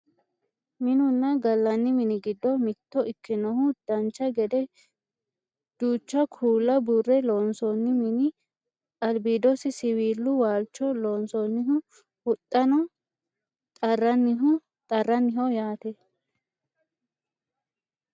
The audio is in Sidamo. Minunna gallanni mini giddo mitto ikkinoha dancha gede duucha kuula buurre loonsoonni mini albiidosi siwiilu waalcho loonsonniha huxxano xarranniho yaate